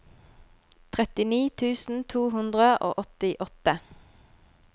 trettini tusen to hundre og åttiåtte